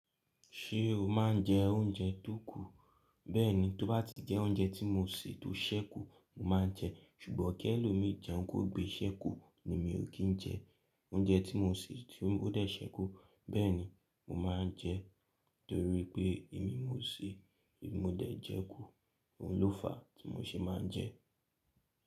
Ṣé o máa ń jẹ oúnjẹ tó kù? Bẹ́ẹ̀ni, tó bá ti jẹ́ oúnjẹ tí mo sè tó ṣẹ́kù, mo máa ń jẹ ṣùgbọ́n kí ẹlòmíì jẹun kó gbé ṣẹ́kù èmi ò kí ń jẹ. Oúnjẹ tí mo sè tí ó dè ṣẹ́kù, bẹ́ẹ̀ni mo máa ń jẹ torí pé èmi ni mo sè èmi ni mo dẹ̀ jẹ kù, òun ló fàá tí mo ṣe máa ń jẹ.